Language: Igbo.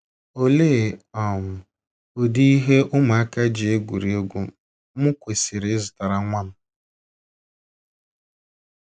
Olee um ụdị ihe ụmụaka ji egwurị egwu m kwesịrị ịzụtara nwa m??